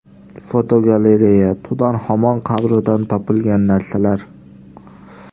Fotogalereya: Tutanxamon qabridan topilgan narsalar.